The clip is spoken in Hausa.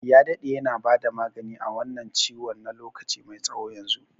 Ya daɗe yana bada magani a wannan ciwon na lokaci mai tsawo yanzu.